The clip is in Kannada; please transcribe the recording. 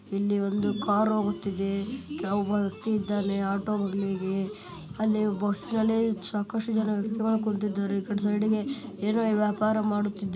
ಇಲ್ಲಿ ಒಂದು ಕಾರು ಹೋಗುತ್ತಿದ್ದೆ ಒಬ್ಬ ವ್ಯಕ್ತಿ ಇದ್ದಾನೆ ಆಟೋ ದೊಂದಿಗೆ ಅಲ್ಲಿ ಬಸ್ ನಲ್ಲಿ ಸಾಕಷ್ಟು ಜನ ವ್ಯಕ್ತಿಗಳು ಕುಂತಿದ್ದಾರೆ ಈ ಕಡೆ ಸೈಡಿಗೆ ಏನು ವ್ಯಾಪಾರ ಮಾಡುತ್ತಿದ್ದಾರೆ .